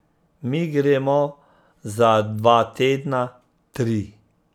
Mi gremo za dva tedna, tri.